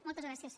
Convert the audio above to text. moltes gràcies